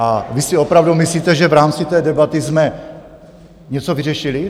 A vy si opravdu myslíte, že v rámci té debaty jsme něco vyřešili?